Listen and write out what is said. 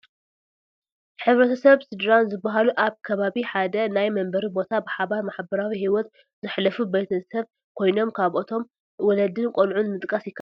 ሕ/ሰብ ስድራን ዝባሃሉ ኣብ ሓደ ከባቢ ናይ መንበሪ ቦታ ብሓባር ማሕበራዊ ሂወት ዘሕልፉ ቤተ ሰብ ኮይኖም ካብኣቶም ወለድን ቆልዑትን ምጥቃስ ይካኣል፡፡